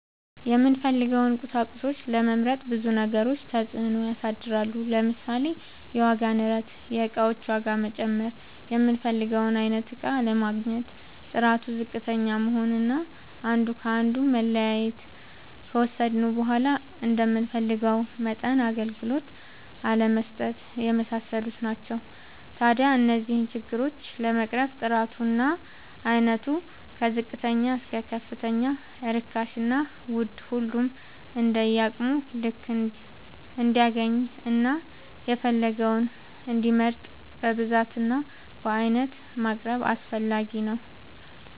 የምንፈልገውን ቁሳቁሶች ለመምረጥ ብዙ ነገሮች ተፅእኖ ያሳድራሉ። ለምሳሌ፦ የዋጋ ንረት(የእቃዎች ዋጋ መጨመር)፣ የምንፈልገውን አይነት እቃ አለማግኘት፣ ጥራቱ ዝቅተኛ መሆን አና አንዱ ከአንዱ መለያየት፣ ከወሰድነውም በዃላ እንደምንፈልገው መጠን አገልግሎት አለመስጠት የመሳሰሉት ናቸው። ታዲያ እነዚህን ችግሮች ለመቅረፍ ጥራቱ እና አይነቱ ከዝቅተኛ እስከ ከፍተኛ ርካሽና ውድ ሁሉም እንደየአቅሙ ልክ እንዲያገኝና የፈለገውን እንዲመርጥ በብዛት እና በአይነት ማቅረብ አስፈላጊ ነው።